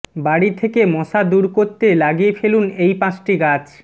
বাড়ি থেকে মশা দূর করতে লাগিয়ে ফেলুন এই পাঁচটি গাছ